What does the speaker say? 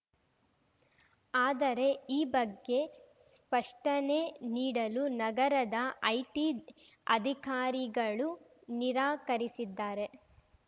ಆದರೆ ಈ ಬಗ್ಗೆ ಸ್ಪಷ್ಟನೆ ನೀಡಲು ನಗರದ ಐಟಿ ಅಧಿಕಾರಿಗಳು ನಿರಾಕರಿಸಿದ್ದಾರೆ